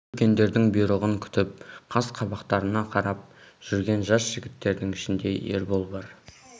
осы үлкендердің бұйрығын күтіп қас-қабақтарына қарап жүрген жас жігіттердің ішінде ербол бар